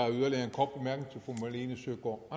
hvor